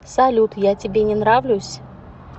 салют я тебе не нравлюсь